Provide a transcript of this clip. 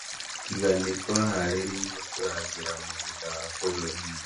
"tiga nĩtwĩharĩirie kurangĩra mũgũnda wa bũrũri witũ" nĩoigïte mũrũgamĩrĩri Olivier Nduhungirehe